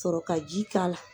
Sɔrɔ ka ji k'a la.